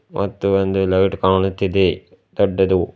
ಮತ್ತು ಒಂದು ಲೈಟ್ ಕಾಣುತ್ತಿದೆ ದೊಡ್ಡದು.